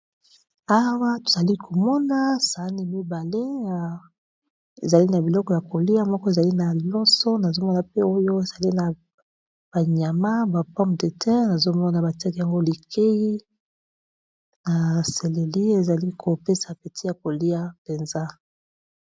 Awa, tozali komona sani mibale, ezali na biloko ya kolia. Moko ezali na loso, nazo mona pe oyo ezali na ba nyama, ba pome de terre. Nazo mona ba tiakî yango likei na seleli. Ezali kopesa apeti ya kolia mpenza.